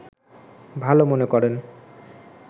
ভালো মনে করেন